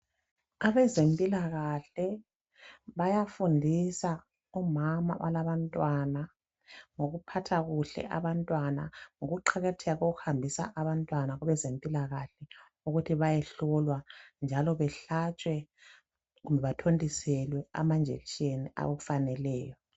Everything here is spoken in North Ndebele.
Abezempilakahle bayafundisa omama abalabantwana ngokuphatha kuhle abantwana, ngokuqakatheka kokuhambisa abantwana kwabezempilakahle ukuthi bayehlolwa njalo behlatshwe kumbe bathontiselwe amainjection afaneleyo.